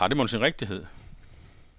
Har det mon sin rigtighed?